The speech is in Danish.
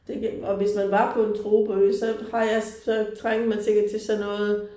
Det og hvis man var på en tropeø så har jeg så trænger man sikkert til sådan noget